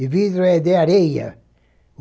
E vidro é de areia.